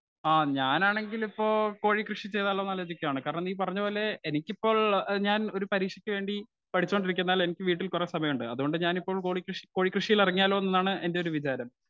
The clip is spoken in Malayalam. സ്പീക്കർ 1 ആ ഞാൻ ആണെങ്കിൽ ഇപ്പൊ കോഴി കൃഷി ചെയ്താലൊന്നു ആലോചിക്കുവാണ്. കാരണം നീ പറഞ്ഞപോലെ എനിക്കിപ്പോൾ ഞാൻ ഒരു പരീക്ഷക്കുവേണ്ടി പഠിച്ചോണ്ട് ഇരിക്കുന്നാൽ എനിക്ക് വീട്ടിൽ കുറെ സമയം ഉണ്ട്. അതുകൊണ്ടു ഞാൻ ഇപ്പോൾ കോളി കൃഷി കോഴിക്കൃഷിയിൽ ഇറങ്ങിയാലോന്നാണ് എന്റെ വിചാരം